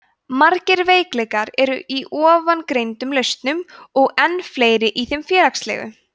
margir veikleikar eru í ofangreindum lausnum og enn fleiri í þeim félagslegu